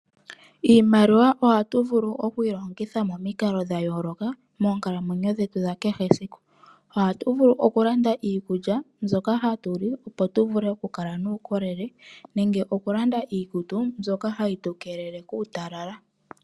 Iimaliwa ohatu vulu oku yi longitha moonkalo dha yooloka moonkalamwenyo dhetu dha kehe esiku ohatu vulu oku landa iikulya mbyoka hatu li opo tu vule oku kala nuukolele, nenge oku landa iikutu mbyoka hayi tu keelele kuutalala.